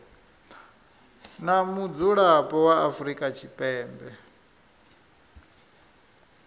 na mudzulapo wa afrika tshipembe